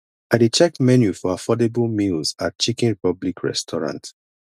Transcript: i dey check menu for affordable meals at chicken republic restaurant